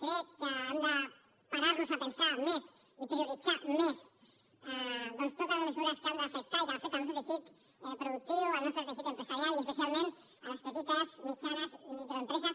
crec que hem de parar nos a pensar més i prioritzar més doncs totes les mesures que han d’afectar i que afecten el nostre teixit productiu el nostre teixit empresarial i especialment les petites mitjanes i microempreses